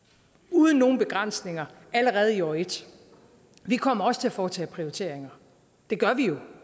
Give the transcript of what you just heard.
uden nogen begrænsninger allerede i år ét vi kommer også til at foretage prioriteringer det gør vi jo